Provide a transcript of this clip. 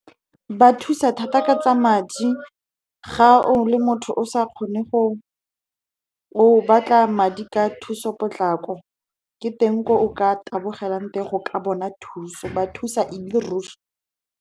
Ba thusa thata ka tsa madi. Ga o le motho o batla madi ka thuso potlako, ke teng ko o ka tabogelang teng go ka bona thuso, ba thusa ele ruri.